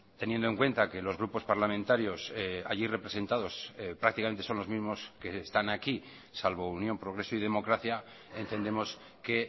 teniendo en cuenta que los grupos parlamentarios allí representados prácticamente son los mismos que están aquí salvo unión progreso y democracia entendemos que